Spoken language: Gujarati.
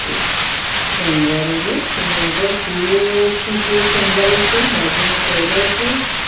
સંગારેલું ત્યાં આગળ ફૂલોથી ગેટ સંગારે છે બાજુમાં પરદા છે.